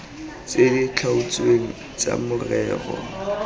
tse di tlhaotsweng tsa morero